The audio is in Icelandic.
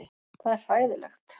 Það er hræðilegt.